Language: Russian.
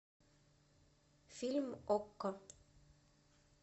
фильм окко